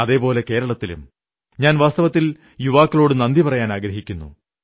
അതേപോലെ കേരളത്തിലും ഞാൻ വാസ്തവത്തിൽ യുവാക്കളോടു നന്ദി പറയാനാഗ്രഹിക്കുന്നു